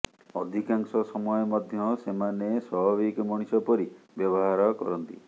ଅଧିକାଂଶ ସମୟ ମଧ୍ୟ ସେମାନେ ସ୍ୱାଭାବିକ ମଣିଷ ପରି ବ୍ୟବହାର କରନ୍ତି